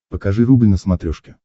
покажи рубль на смотрешке